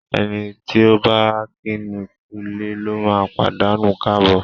Ẹni tí ọ̀ bá kíni kúulé lóma pàdánù káàbọ̀.